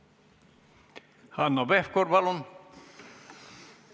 Hanno Pevkur, palun!